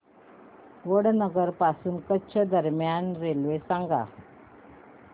वडनगर पासून कच्छ दरम्यान रेल्वे सांगा